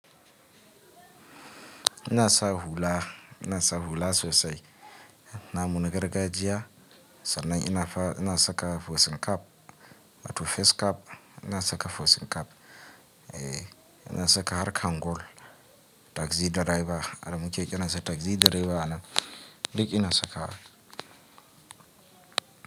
Ina sa hula, ina sa hula sosai. Na mu gargajiya sannan ina saka facing cap, wato face cap, ina saka facing cap, eh ina saka har kangol, taxi driver haka muke kiransa taxi driver anan duk ina saka wa.